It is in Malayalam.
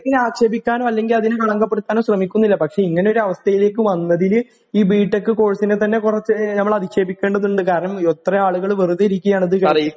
ആക്ഷേപിക്കാനോ അല്ലെങ്കില് അതിനു കളങ്കപ്പെടുത്താനോ ശ്രമിക്കുന്നില്ല പക്ഷേ ഇങ്ങനെ ഒരു അവസ്ഥയിലേക്ക് വന്നതില് ഈ ബി ടെക് കോഴ്സ് നെ തന്നെ കുറച്ച് ഞമ്മള് അധിക്ഷേപിക്കേണ്ടത് ഉണ്ട് കാരണം ഇത്രയും ആളുകള് വെറുതെ ഇരികുകയാണ് ഇത് ചെയ്തിട്ട്